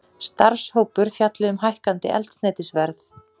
Starfshópur fjalli um hækkandi eldsneytisverð